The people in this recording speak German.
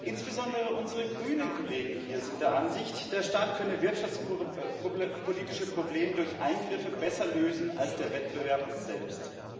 Insbesondere unsere grünen Kollegen hier sind der Ansicht, der Staat könne wirtschaftspolitische Probleme durch Eingriffe besser lösen als der Wettbewerb selbst.